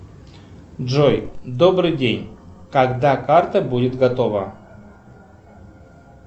джой добрый день когда карта будет готова